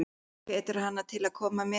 Hann hvetur hana til að koma með.